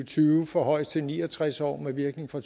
tyve forhøjes til ni og tres år med virkning fra